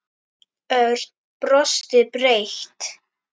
Örn brosti breitt.